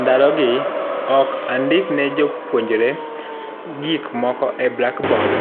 Ndalogi ok andik ne jopuonjre gik moko e blak bod,